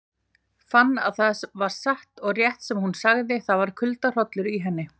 Fann að það var satt og rétt sem hún sagði, það var kuldahrollur í henni.